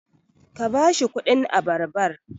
ka ba shi kudin abarbar!